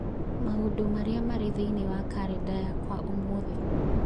Maũndũ marĩa marĩ thĩinĩ wa kalendarĩ yakwa ũmũthĩ